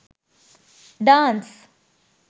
dance